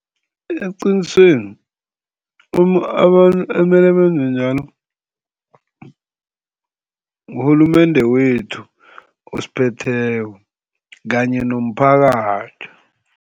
Eqinisweni abantu ekumele benze njalo ngurhulumende wethu osiphetheko kanye nomphakathi.